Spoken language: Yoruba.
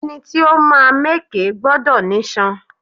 Ẹni tí ó máa mẹkẹ gbọdọ̀ nísàn